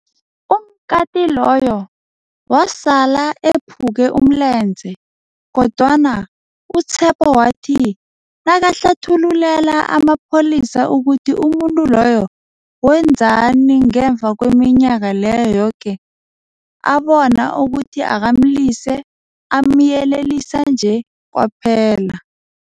Umkati loyo wasala ephuke umlenze, kodwana u-Tshepo wathi nakahlathululela amapholisa ukuthi umuntu loyo wenzani ngemva kweminyaka leyo yoke, abona ukuthi akamlise, amyelelisa nje kwaphela.